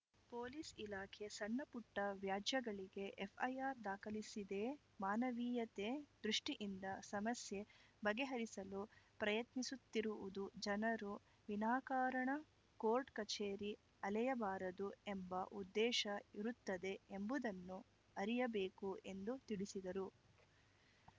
police ಇಲಾಖೆ ಸಣ್ಣಪುಟ್ಟವ್ಯಾಜ್ಯಗಳಿಗೆ FIR ದಾಖಲಿಸಿದೇ ಮಾನವೀಯತೆ ದೃಷ್ಟಿಯಿಂದ ಸಮಸ್ಯೆ ಬಗೆಹರಿಸಲು ಪ್ರಯತ್ನಿಸುತ್ತಿರುವುದು ಜನರು ವಿನಾಕಾರಣ ಕೋರ್ಟ್‌ ಕಚೇರಿ ಅಲೆಯಬಾರದು ಎಂಬ ಉದ್ದೇಶ ಇರುತ್ತದೆ ಎಂಬುದನ್ನು ಅರಿಯಬೇಕು ಎಂದು ತಿಳಿಸಿದರು